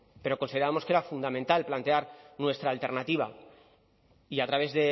pero consideramos que era fundamental plantear nuestra alternativa y a través